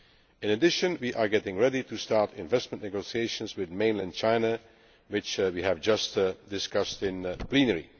In addition, we are getting ready to start investment negotiations with mainland China, which we have just discussed in plenary.